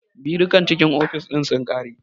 Birukan cikin ofis ɗin sun ƙare